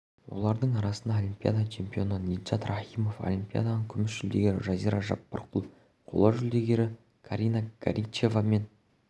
олардың арасында олимпиада чемпионы ниджат рахимов олимпиаданың күміс жүлдегері жазира жаппарқұл қола жүлдегерлер карина горичева мен